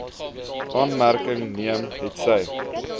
aanmerking neem hetsy